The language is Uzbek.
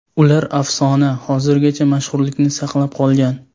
Ular afsona, hozirgacha mashhurlikni saqlab qolgan.